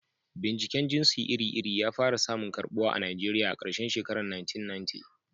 Binciken jinsi iri-iri ya fara samun karɓuwa a Najeriya a karshen shekarun 1990.